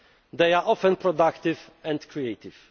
among us. They are often productive and